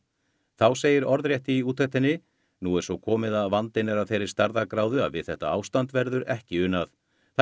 þá segir orðrétt í úttektinni nú er svo komið að vandinn er af þeirri stærðargráðu að við þetta ástand verður ekki unað það